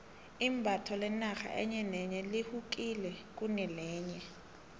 imbatho lenarha enye nenye lehukile kunelenye